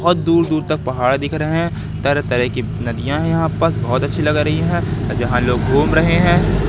बहोत दूर दूर तक पहाड़ दिख रहे हैं तरह तरह की नदियां यहां बहोत अच्छी लग रही है जहां लोग घूम रहे हैं।